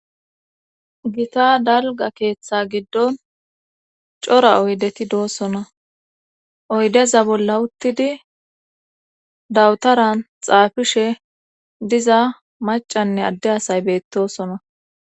Gita dalga keeththa giddon cora oydeti doosona oydeza bolla uttidi dawutaran xaafishe diza macanne adde asay beettosona.